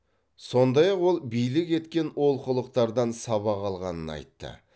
сондай ақ ол билік кеткен олқылықтардан сабақ алғанын айтты